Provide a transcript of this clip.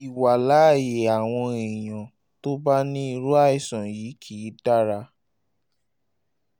ìwàláàyè àwọn èèyàn tó bá ní irú àìsàn yìí kì í dára